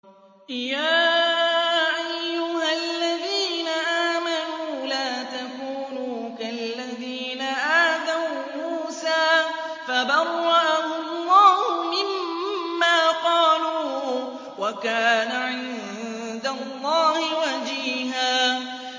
يَا أَيُّهَا الَّذِينَ آمَنُوا لَا تَكُونُوا كَالَّذِينَ آذَوْا مُوسَىٰ فَبَرَّأَهُ اللَّهُ مِمَّا قَالُوا ۚ وَكَانَ عِندَ اللَّهِ وَجِيهًا